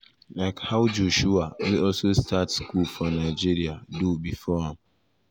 like how joshua wey also start school for nigeria for nigeria do bifor am.